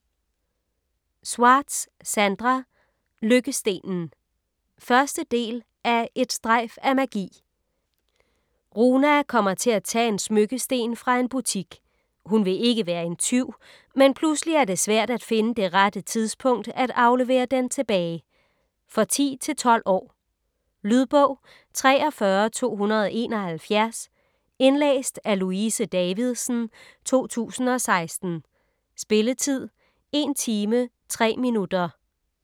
Schwartz, Sandra: Lykkestenen 1. del af Et strejf af magi. Runa kommer til at tage en smykkesten fra en butik. Hun vil ikke være en tyv, men pludselig er det svært at finde det rette tidspunkt at aflevere den tilbage. For 10-12 år. Lydbog 43271 Indlæst af Louise Davidsen, 2016. Spilletid: 1 timer, 3 minutter.